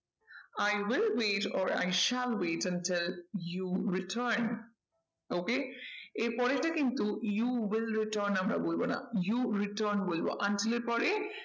I will wait or i shall wait until you return okay এর পরেরটা কিন্তু you will return আমরা বলবো না you return বলবো until এর পরে